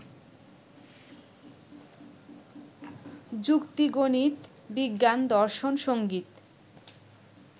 যুক্তি-গণিত-বিজ্ঞান-দর্শন-সংগীত